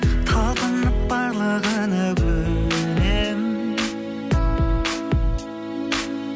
талпынып барлығына көнемін